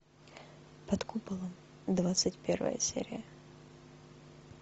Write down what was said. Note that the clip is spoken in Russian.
под куполом двадцать первая серия